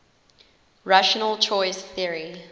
rational choice theory